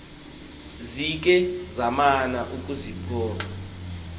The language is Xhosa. zikhe zamana ukuxiphosa